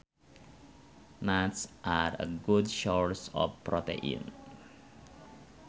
Nuts are a good source of protein